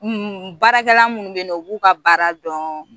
Baarakɛla minnu bɛ na u b'u ka baara dɔn